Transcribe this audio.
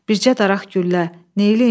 Bircə daraq güllə, neyləyim?